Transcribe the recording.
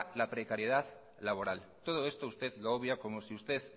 la precariedad laboral todo esto usted lo obvia como si usted